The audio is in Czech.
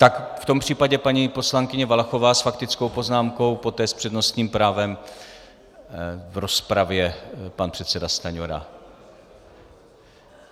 Tak v tom případě paní poslankyně Valachová s faktickou poznámkou, poté s přednostním právem v rozpravě pan předseda Stanjura.